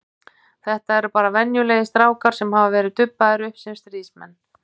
Þetta eru bara venjulegir strákar sem hafa verið dubbaðir upp sem stríðsmenn.